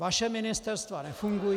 Vaše ministerstva nefungují.